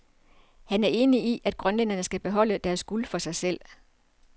Han er enig i, at grønlænderne skal beholde deres guld for sig selv.